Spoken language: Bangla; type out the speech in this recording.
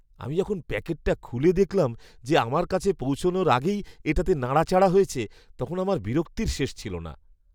আমি যখন প্যাকেটটা খুলে দেখলাম যে আমার কাছে পৌঁছানোর আগেই এটাতে নাড়াচাড়া হয়েছে, তখন আমার বিরক্তির শেষ ছিল না!